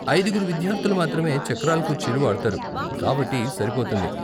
అయిదుగురు విద్యార్ధులు మాత్రమే చక్రాల కుర్చీలు వాడతారు, కాబట్టి సరిపోతుంది.